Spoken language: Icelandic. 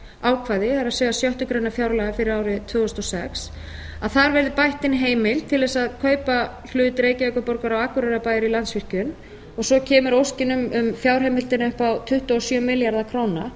þessu heimildarákvæði það er sjöttu grein fjárlaga fyrir árið tvö þúsund og sex að þar verði bætt inn heimild til þess að kaupa hlut reykjavíkurborgar og akureyrarbæjar í landsvirkjun og svo kemur óskin um fjárheimildina upp á tuttugu og sjö milljarða króna